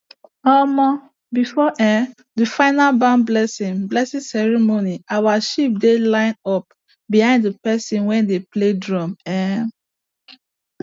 before um the final barn blessing blessing ceremony our sheep dey line up behind the person wey dey play drum um